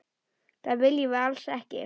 Það viljum við alls ekki.